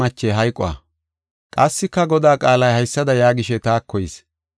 Qassika Godaa qaalay haysada yaagishe taako yis.